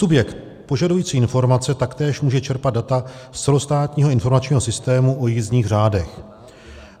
Subjekt požadující informace taktéž může čerpat data z celostátního informačního systému o jízdních řádech.